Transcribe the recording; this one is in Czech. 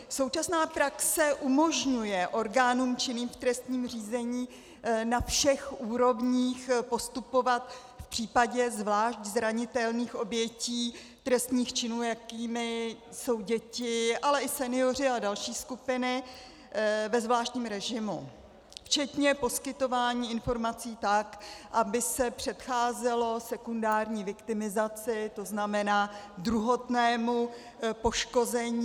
Současná praxe umožňuje orgánům činným v trestním řízení na všech úrovních postupovat v případě zvlášť zranitelných obětí trestných činů, jakými jsou děti, ale i senioři a další skupiny, ve zvláštním režimu včetně poskytování informací tak, aby se předcházelo sekundární viktimizaci, to znamená druhotnému poškození.